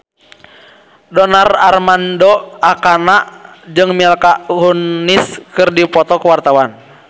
Donar Armando Ekana jeung Mila Kunis keur dipoto ku wartawan